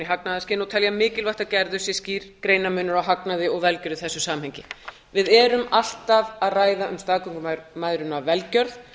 í hagnaðarskyni og telja mikilvægt að gerður sé skýr greinarmunur á hagnaði og velgjörð í þessu samhengi við erum alltaf að ræða um staðgöngumæðrun af velgjörð